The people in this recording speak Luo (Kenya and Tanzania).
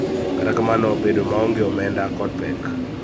Kata kamano, bedo maonge omenda kod pek .